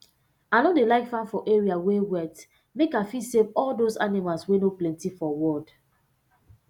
i no dey like farm for area wey wet make i fit save all those animals wey no plenty for world